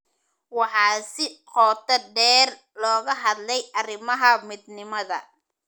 Waxaa si qoto dheer looga hadlay arrimaha midnimada.